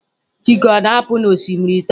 chike a na-apu n'osimiri taa?